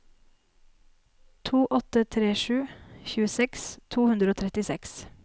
to åtte tre sju tjueseks to hundre og trettiseks